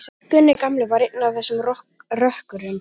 Gunni gamli var einn af þessum rökkurum.